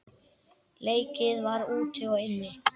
Leikið var úti og inni.